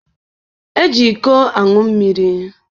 Eji iko aṅụ mmiri.